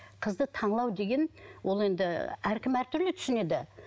қызды деген ол енді ыыы әркім әртүрлі түсінеді